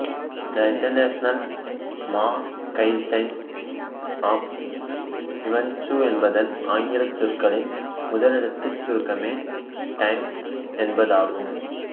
the international magazine of events என்பதன் ஆங்கிலச் சொற்களின் முதலெழுத்துச் சுருக்கமே டைம் என்பதாகும்